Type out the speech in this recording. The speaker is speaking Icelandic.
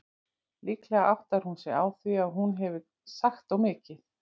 Líklega áttar hún sig á því að hún hefur sagt of mikið.